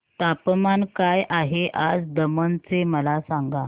तापमान काय आहे आज दमण चे मला सांगा